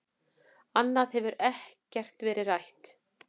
Annað hefur ekkert verið rætt